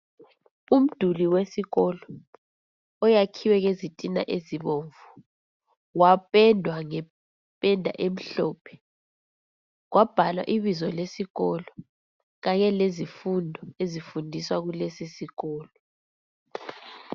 Umduli wesikolo oyakhiwe ngezitina ezibomvu, wapendwa ngependa emhlophe, kwabhalwa ibizo lesikolo kanye lezifundo ezifundiswa kulesisikolo.